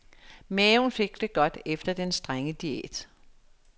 Maven fik det godt efter den strenge diæt.